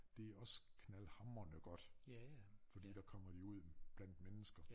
Det også knaldhamrende godt fordi der kommer de ud blandt mennesker